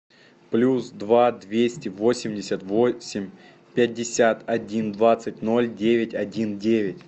плюс два двести восемьдесят восемь пятьдесят один двадцать ноль девять один девять